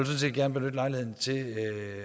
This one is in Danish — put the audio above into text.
set gerne benytte lejligheden til